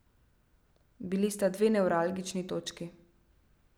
Bili sta dve nevralgični točki.